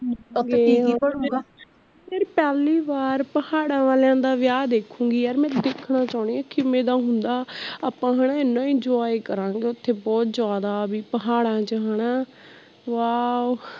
ਯਾਰ ਪਹਿਲੀ ਵਾਰ ਪਹਾੜਾ ਵਾਲਿਆਂ ਦਾ ਵਿਆਹ ਦੇਖੂੰਗੀ ਯਾਰ ਮੈਂ ਦੇਖਣਾ ਚਾਉਣੀ ਆ ਵੀ ਕਿਵੇਂ ਦਾ ਹੁੰਦਾ ਆਪਾਂ ਹੈਨਾ ਏਨ enjoy ਕਰਾਗੇ ਓਥੇ ਬਹੁਤ ਜ਼ਿਆਦਾ ਵੀ ਪਹਾੜਾ ਚ ਹੈਨਾ wow